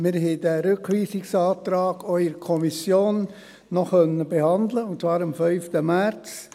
der SiK. Wir konnten diesen Rückweisungsantrag auch noch in der Kommission behandeln, und zwar am 5. März.